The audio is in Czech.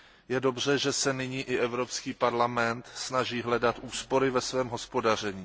Je dobře, že se nyní i Evropský parlament snaží hledat úspory ve svém hospodaření.